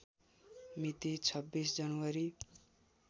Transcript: मिति २६ जनवरी